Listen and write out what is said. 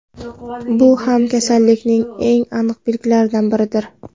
Bu ham kasallikning eng aniq belgilaridan biridir.